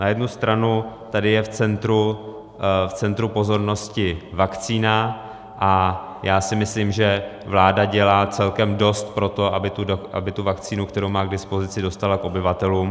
Na jednu stranu tady je v centru pozornosti vakcína a já si myslím, že vláda dělá celkem dost pro to, aby tu vakcínu, kterou má k dispozici, dostala k obyvatelům.